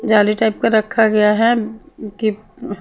जाली टाइप का रखा गया है की --